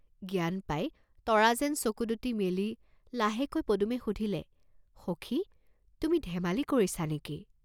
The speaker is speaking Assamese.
জ্ঞান পাই তৰা যেন চকু দুটি মেলি লাহেকৈ পদুমে সুধিলে, "সখি, তুমি ধেমালি কৰিছাঁ নেকি?